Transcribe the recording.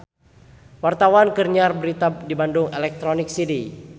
Wartawan keur nyiar berita di Bandung Electronic City